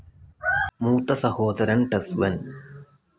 മൂത്ത സഹോദരൻ ടസ് വെൻ.